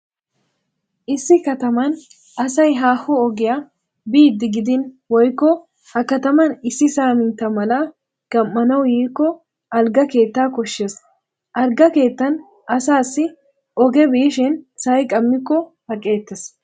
Issi katman asay haaho ogiya biiddi gidin woykko he kataman issi saamintta mala gam"anawu yiikko algga keettaa koshshees. Algga keettan asassi oge biishin sa'i qammikko aqeettees.